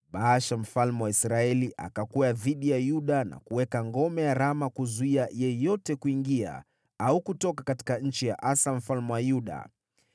Mfalme Baasha wa Israeli akashambulia Yuda na kuweka ngome mji wa Rama ili kumzuia yeyote asitoke wala kuingia nchi ya Mfalme Asa wa Yuda.